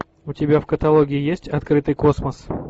у тебя в каталоге есть открытый космос